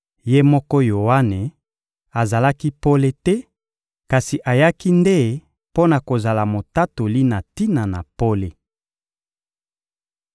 Ye moko Yoane azalaki pole te, kasi ayaki nde mpo na kozala motatoli na tina na pole.